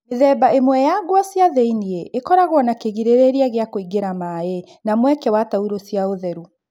Mĩthemba ĩmwe ya nguo cia thĩ-iniĩ ĩkoragwo na kĩgirĩrĩria gĩa kũingĩra maĩ na mweke wa taurũ cia ũtheru